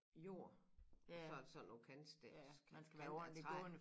Jord og så der sådan nogen kantstens kanter af træ